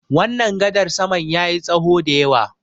wannan gadar saman ya yi tsaho da yawa